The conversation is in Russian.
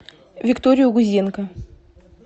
викторию гузенко